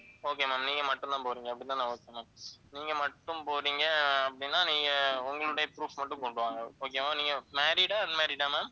okay ma'am நீங்க மட்டும்தான் போறீங்க அப்படிதான okay ma'am நீங்க மட்டும் போறீங்க அப்படின்னா நீங்க உங்களுடைய proof மட்டும் கொண்டு வாங்க okay வா நீங்க married ஆ unmarried ஆ ma'am